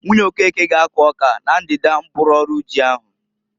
Nwunye Okeke ga akụ ọka na ndida mkpụrụ ọrụ ji ahu.